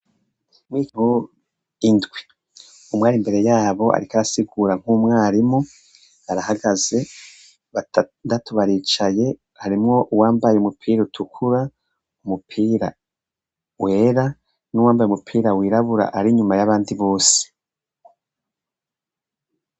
Indwi umwe ari imbere yabo ariko arasigura nkumwarimu arahagaze batandatu baricaye harimwo uwambaye umupira utukura umupira wera nuwambaye umupira wirabura ari inyuma yabandi bose.